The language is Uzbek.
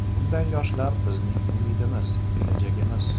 Bunday yoshlar bizning umidimiz, kelajagimiz.